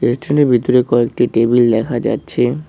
ভিতরে কয়েকটি টেবিল দেখা যাচ্ছে।